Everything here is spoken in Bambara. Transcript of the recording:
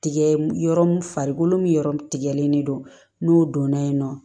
Tigɛ yɔrɔ mun farikolo min yɔrɔ tigɛlen don n'o donna yen nɔ